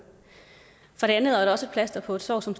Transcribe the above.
for det andet er det også et plaster på et sår som